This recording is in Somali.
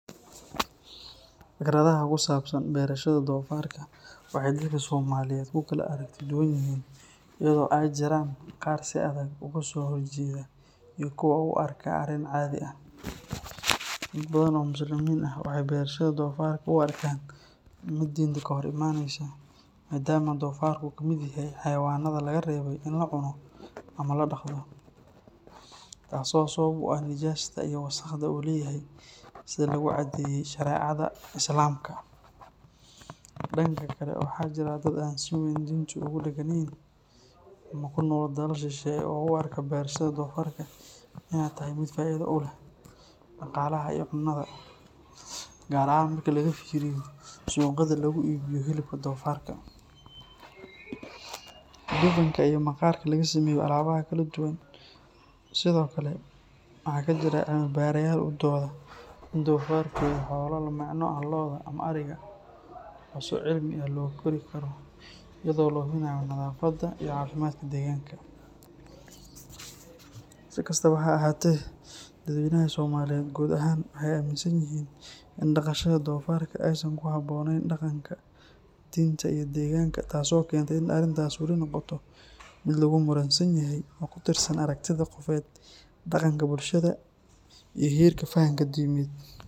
Fikradaha ku saabsan berashada doofaarka waxay dadka Soomaaliyeed ku kala aragti duwan yihiin iyadoo ay jiraan qaar si adag uga soo horjeeda iyo kuwo u arka arrin caadi ah. Dad badan oo Muslimiin ah waxay berashada doofaarka u arkaan mid diinta ka hor imaaneysa maadaama doofaarka uu ka mid yahay xayawaannada laga reebay in la cuno ama la dhaqdo, taasoo sabab u ah nijaasta iyo wasakhda uu leeyahay sida lagu cadeeyay shareecada Islaamka. Dhanka kale, waxaa jira dad aan si weyn diinta ugu dhegganayn ama ku nool dalal shisheeye oo u arka berashada doofaarka inay tahay mid faa’iido u leh dhaqaalaha iyo cunnada, gaar ahaan marka laga fiiriyo suuqyada laga iibiyo hilibka doofaarka, dufanka iyo maqaarka laga sameeyo alaabaha kala duwan. Sidoo kale, waxaa jira cilmi-baarayaal u dooda in doofaarku yahay xoolo la micno ah lo’da ama ariga oo si cilmi ah loo kori karo iyadoo la hubinayo nadaafadda iyo caafimaadka deegaanka. Si kastaba ha ahaatee, dadweynaha Soomaaliyeed guud ahaan waxay aaminsan yihiin in dhaqashada doofaarka aysan ku habboonayn dhaqanka, diinta, iyo deegaanka, taasoo keenta in arrintaasi weli noqoto mid lagu muransan yahay oo ku tiirsan aragtiyaha qofeed, dhaqanka bulshada iyo heerka fahamka diimeed.